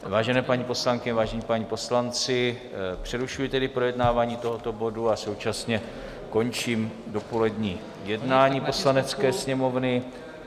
Vážené paní poslankyně, vážení páni poslanci, přerušuji tedy projednávání tohoto bodu a současně končím dopolední jednání Poslanecké sněmovny.